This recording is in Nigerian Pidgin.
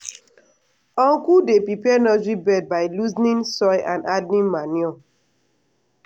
uncle dey prepare nursery bed by loosening soil and adding manure.